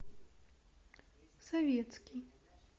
советский